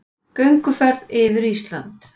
Gönguferð yfir Ísland